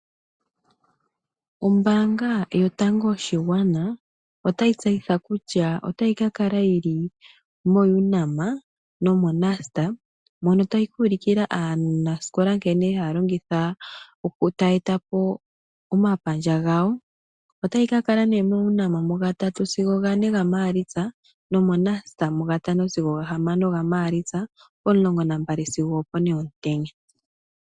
Ombaanga yotango yopashigwana otayi tseyitha kutya otayi ka kala yi li moUNAM nomoNUST mono tayi ka ulukila aanasikola nkene taya eta po omapandja gawo. Otayi ka kala moUNAM momasiku ga3 sigo 4 gaMaalitsa nomoNUST mu ga 5 sigo 4 gaMaalitsa, pomulongo nambali sigo opone yokomatango.